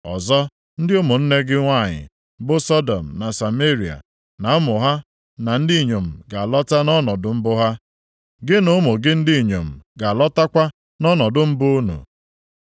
Ọzọ ndị ụmụnne gị nwanyị bụ Sọdọm na Sameria na ụmụ ha ndị inyom ga-alọta nʼọnọdụ mbụ ha; gị na ụmụ gị ndị inyom ga-alọtakwa nʼọnọdụ mbụ unu.